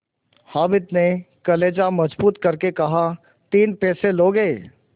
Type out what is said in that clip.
हामिद ने कलेजा मजबूत करके कहातीन पैसे लोगे